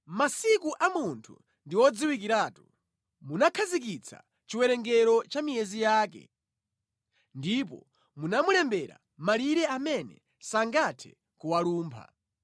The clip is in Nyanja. Masiku a munthu ndi odziwikiratu; munakhazikitsa chiwerengero cha miyezi yake ndipo munamulembera malire amene sangathe kuwalumpha.